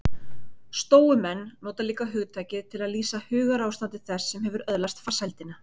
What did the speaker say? Stóumenn nota líka hugtakið til að lýsa hugarástandi þess sem hefur öðlast farsældina.